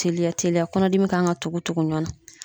Teliya teliya kɔnɔdimi kan ka tugu tugu ɲɔgɔn na.